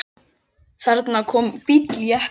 Þarna kom bíll, jeppi.